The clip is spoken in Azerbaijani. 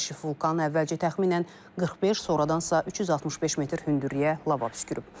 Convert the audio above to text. Vulkan əvvəlcə təxminən 45, sonradansa 365 metr hündürlüyə lava püskürüb.